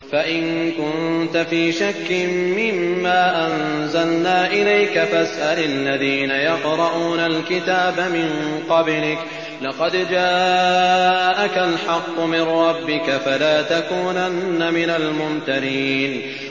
فَإِن كُنتَ فِي شَكٍّ مِّمَّا أَنزَلْنَا إِلَيْكَ فَاسْأَلِ الَّذِينَ يَقْرَءُونَ الْكِتَابَ مِن قَبْلِكَ ۚ لَقَدْ جَاءَكَ الْحَقُّ مِن رَّبِّكَ فَلَا تَكُونَنَّ مِنَ الْمُمْتَرِينَ